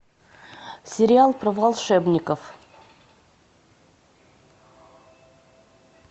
сериал про волшебников